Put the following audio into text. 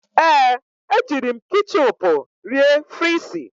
Ee, ejiri m ketchịupụ rie frịsị.